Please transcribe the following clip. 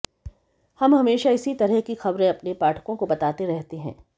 हम हमेशा इसी तरह की ख़बरें अपने पाठकों को बताते रहते हैं